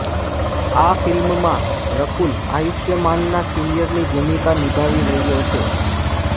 આ ફિલ્મમાં રકુલ આયુષ્માનના સિનિયરની ભૂમિકા નિભાવી રહ્યો છે